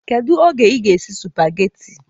Kedu oge ị ga-esi esi spageti?